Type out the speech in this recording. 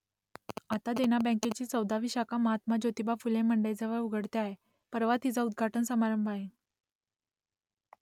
आता देना बँकेची चौदावी शाखा महात्मा ज्योतिबा फुले मंडईजवळ उघडते आहे , परवा तिचा उद्घाटन समारंभ आहे